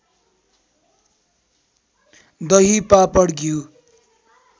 दही पापड घिउ